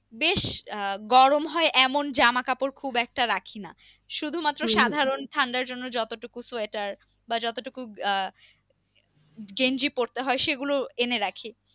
বেশ আহ গরম হয় এমন জামা কাপড় খুব একটা রাখি না, শুধুমাত্র ঠান্ডা জন্য যতটুকু সোয়েটার বা যতটুকু আহ গেঞ্জি পরতে হয় সেগুলো এনে রাখি।